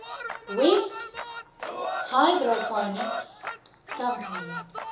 west hydroponics company